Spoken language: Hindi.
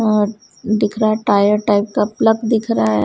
और दिख रहा टायर टाइप का प्लक दिख रहा है।